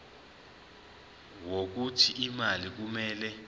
wokuthi imali kumele